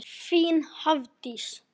Þín Hafdís.